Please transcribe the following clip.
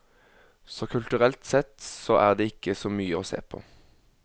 Så kulturelt sett så er det ikke så mye å se på.